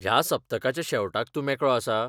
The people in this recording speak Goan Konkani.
ह्या सप्तकाच्या शेवटाक तूं मेकळो आसा?